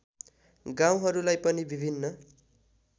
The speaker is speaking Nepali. गाउँहरूलाई पनि विभिन्न